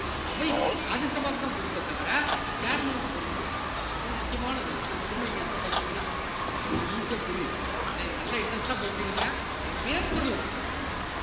அவைக்கு ராஜ்ய சபாக்குதான் பொறுப்பே தவிர chairman க்கு பொறுப்பு கிடையாது அது முக்கியமானது திரும்ப திரும்ப நீங்க எடுத்து படிச்சீங்கன்னா உங்களுக்கு easy ஆ புரியும் என்ன இதை நல்லா interest ஆ படிச்சுக்கிடுங்க paper ல